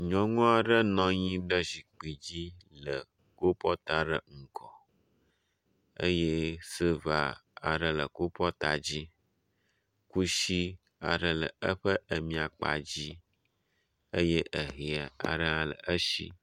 Nyɔnu aɖe nɔ anyi ɖe zikpui dzi le kopɔt aɖe ŋgɔ eye silva aɖe le kopɔtu la di. Kusi aɖe le eƒe miakpadzi eye ehɛ aɖe hã le esi.